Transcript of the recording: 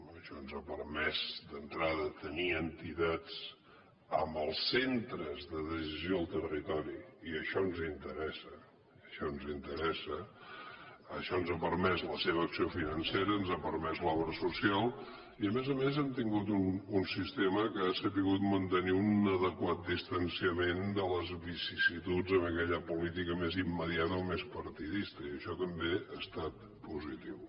això ens ha permès d’entrada tenir entitats en els centres de decisió al territori i això ens interessa això ens interessa això ens ha permès la seva acció financera ens ha permès l’obra social i a més a més hem tingut un sistema que ha sabut mantenir un adequat distanciament de les vicissituds d’aquella política més immediata o més partidista i això també ha estat positiu